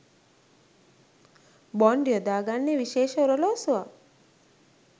Bond යොදාගන්නේ විශේෂ ඔරලෝසුවක්.